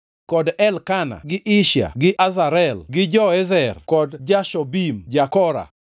kod Elkana gi Ishia gi Azarel gi Joezer kod Jashobeam ja-Kora,